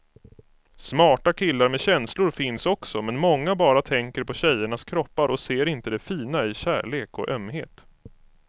Smarta killar med känslor finns också, men många bara tänker på tjejernas kroppar och ser inte det fina i kärlek och ömhet.